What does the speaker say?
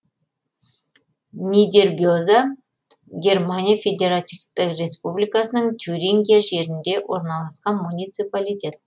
нидербеза германия федеративтік республикасының тюрингия жерінде орналасқан муниципалитет